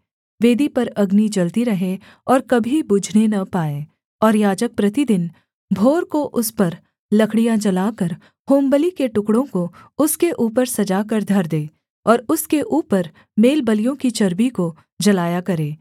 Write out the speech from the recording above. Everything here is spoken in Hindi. वेदी पर अग्नि जलती रहे और कभी बुझने न पाए और याजक प्रतिदिन भोर को उस पर लकड़ियाँ जलाकर होमबलि के टुकड़ों को उसके ऊपर सजा कर धर दे और उसके ऊपर मेलबलियों की चर्बी को जलाया करे